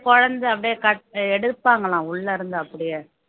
குழந்தை அப்படியே கட் எடுப்பாங்களாம் உள்ள இருந்து அப்படியே